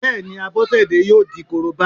Bẹ́ẹ̀ni, Abọ́sẹ̀dé yóò di Korobá